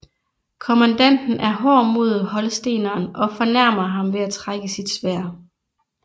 Kommandanten er hård mod holsteneren og fornærmer ham ved at trække sit sværd